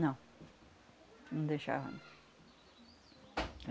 Não, não deixava, não.